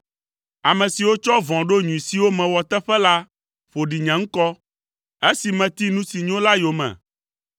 Ame siwo tsɔ vɔ̃ ɖo nyui siwo mewɔ teƒe la ƒo ɖi nye ŋkɔ, esi meti nu si nyo la yome.